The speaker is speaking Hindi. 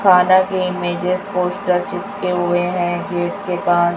खाना के इमेजस पोस्टर चिपके हुए हैं गेट के पास।